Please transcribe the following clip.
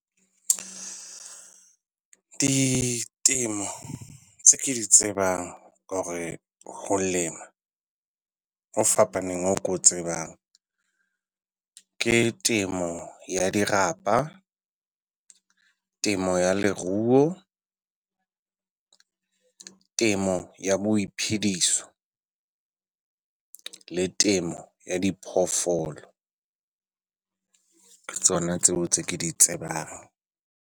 Ditemo tse ke di tsebang or-e ho lema ho fapaneng ho ke o tsebang, ke temo ya dirapa, temo ya leruo, temo ya boiphediso le temo ya diphoofolo. Ke tsona tseo tse ke di tsebang.